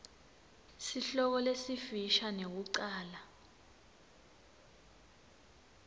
sihloko lesifisha nekucala